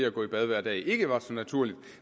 at gå i bad hver dag ikke var så naturligt